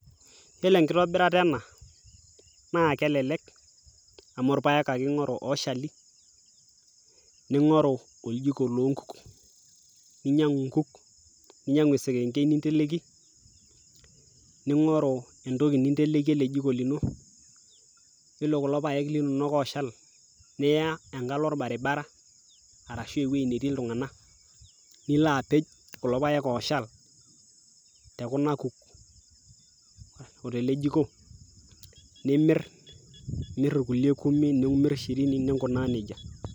yiolo enkitobirata ena naa kelelek amu irpayek ake ing'oru oshali ning'oru oljiko lonkuk ninyiang'u inkuk ninyiang'u esekenkei ninteleki ning'oru entoki ninteleki ele jiko lino yiolo kulo payek linonok oshal niya enkalo orbaribara arashu ewueji netii iltung'anak nilo apej kulo payek oshal tekuna kuk otele jiko nimirr imirr irkulie kumi nimirr shirini nikunaa nejia.